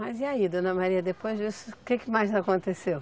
Mas e aí, dona Maria, depois disso, o que que mais aconteceu?